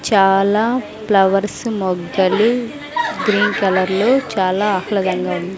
చాలా ఫ్లవర్స్ మొగ్గలు green colour లో చాలా ఆహ్లాదంగా ఉంది.